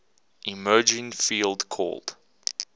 emerging field called